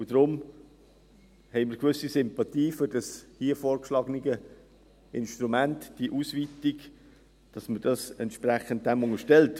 Und deshalb haben wir eine gewisse Sympathie für das hier vorgeschlagene Instrument, diese Ausweitung, dass man entsprechend dies dem unterstellt.